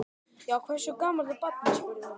Já, hversu gamalt er barnið? spurði hún.